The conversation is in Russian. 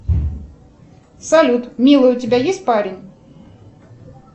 салют милый у тебя есть парень